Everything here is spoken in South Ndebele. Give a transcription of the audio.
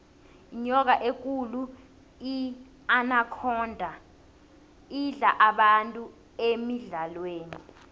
inyoka ekulu inakhonda idla abantu emidlalweni